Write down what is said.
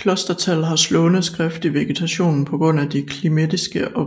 Klostertal har slående skift i vegetationen på grund de klimatiske og